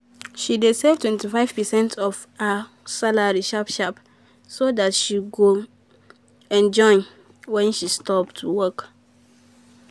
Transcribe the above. she dey save 25 percent of her salary sharp sharp so dat she go um enjoy when she stop um to work.